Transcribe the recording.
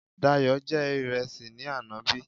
Dayò jẹ ìrẹsì ní àná bí?